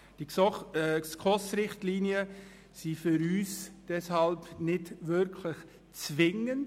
Die SKOS-Richtlinien sind für uns deshalb nicht wirklich zwingend.